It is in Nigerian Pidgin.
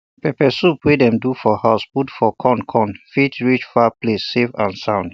pepper sauce wey dem do for house put for con con fit reach far places safe and sound